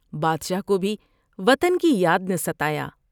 بادشاہ کو بھی وطن کی یاد نے ستایا ۔